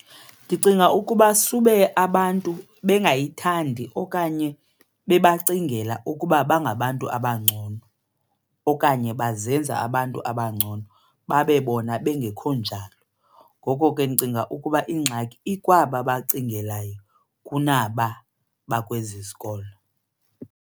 Ndicinga ukuba sube abantu bengayithandi okanye bebancingela ukuba bangabantu abangcono okanye bazenza abantu abangcono babe bona bengekho njalo. Ngoko ke ndicinga ukuba ingxaki ikwaba bacingelayo kunaba bakwezi zikolo.